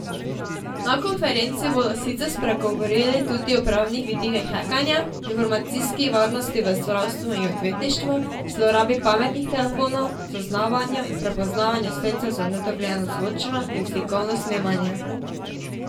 Na konferenci bodo sicer spregovorili tudi o pravnih vidikih hekanja, informacijski varnosti v zdravstvu i odvetništvu, zlorabi pametnih telefonov, zaznavanju in prepoznavanju sredstev za nedovoljeno zvočno in slikovno snemanje.